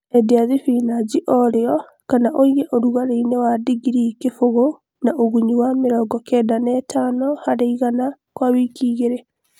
Endia thibinachi o rĩo kana ũige ũrugarĩinĩ wa digrii kĩbũgũ na ũgũnyu wa mĩrongo kenda na ithano harĩ igana kwa wiki igĩlĩ